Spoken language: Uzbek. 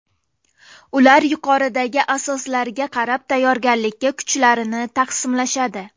Ular yuqoridagi asoslarga qarab tayyorgarlikka kuchlarini taqsimlashadi.